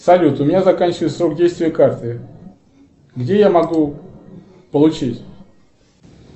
салют у меня заканчивается срок действия карты где я могу получить